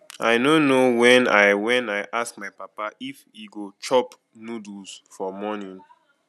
i no know when i when i ask my papa if he go chop noodles for morning